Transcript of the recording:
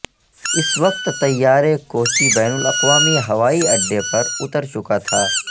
اس وقت طیارے کوچی بین الاقوامی ہوائی اڈے پر اتر چکا تھا